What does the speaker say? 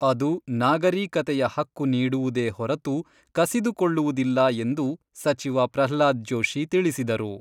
ಅದು ನಾಗರೀಕತೆಯ ಹಕ್ಕು ನೀಡುವುದೇ ಹೊರತು, ಕಸಿದುಕೊಳ್ಳುವುದಿಲ್ಲ ಎಂದು ಸಚಿವ ಪ್ರಹ್ಲಾದ್ ಜೋಷಿ ತಿಳಿಸಿದರು.